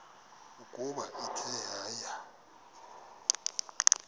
ukuba ithe yaya